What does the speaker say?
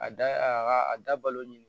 A da a ka a dabalo ni